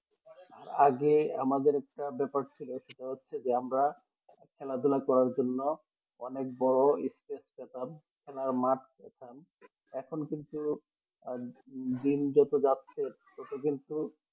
আগে আমাদরে একটা ব্যাপার ছিল সেটা হচ্ছে যে আমরা খেলাধুলা করার জন্য অনেক বড়ো spice পেতাম খেলার মাঠ পেতাম এখন কিন্তু আহ দিন যত যাচ্ছে তত কিন্তু